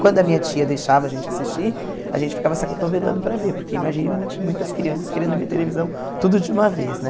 Quando a minha tia deixava a gente assistir, a gente ficava se acotovelando para ver, porque imagine monte muitas crianças querendo ver televisão tudo de uma vez, né?